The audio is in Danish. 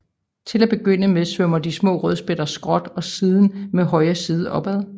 Til at begynde med svømmer de små rødspætter skråt og siden med højre side opad